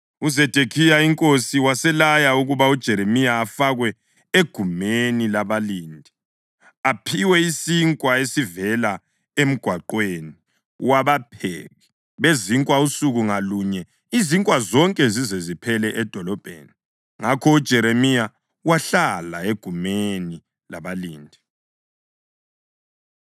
UZedekhiya inkosi waselaya ukuba uJeremiya afakwe egumeni labalindi aphiwe isinkwa esivela emgwaqweni wabapheki bezinkwa usuku ngalunye izinkwa zonke zize ziphele edolobheni. Ngakho uJeremiya wahlala egumeni labalindi.